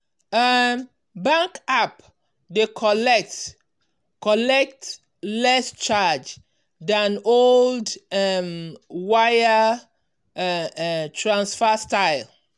um bank app dey collect collect less charge than old um wire um transfer style.